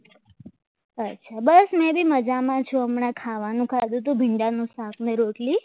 અચ્છા બસ મેં ભી મજામાં છું હમણાં ખાવાનું ખાધું ભીંડા નું સાધન અને રોટલી